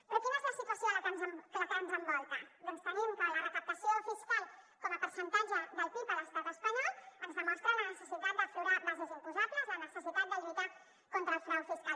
però quina és la situació que ens envolta doncs tenim que la recaptació fiscal com a percentatge del pib a l’estat espanyol ens demostra la necessitat d’aflorar bases imposables la necessitat de lluitar contra el frau fiscal